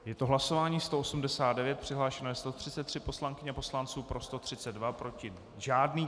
Je to hlasování 189, přihlášeno je 133 poslankyň a poslanců, pro 132, proti žádný.